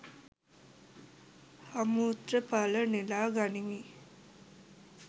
අමෘත ඵල නෙළා ගනිමි